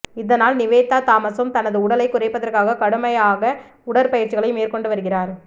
இதனால் நிவேதா தாமஸும் தனது உடலைக் குறைப்பதற்காக கடுமையாக உடற்பயிற்சிகளை மேற்கொண்டு வருகிறார்